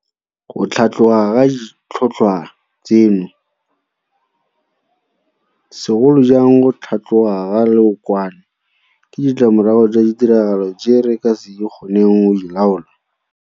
Go tlhatloga ga ditlhotlhwa tseno, segolo jang go tlhatloga ga leokwane, ke ditlamorago tsa ditiragalo tse re ka se kgoneng go di laola.